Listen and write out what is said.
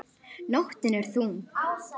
Nóttin er ung